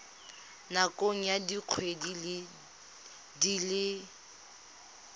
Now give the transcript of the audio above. nakong ya dikgwedi di le